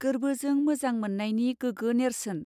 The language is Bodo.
गोरबोजों मोजां मावनयनी गोगो नेरसोन.